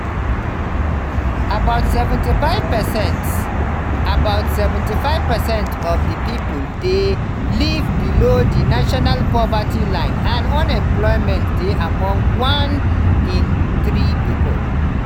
about 75 percent about 75 percent of di population dey live below di national poverty line and unemployment dey among one in three pipo.